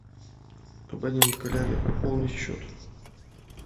абонент коллега пополнить счет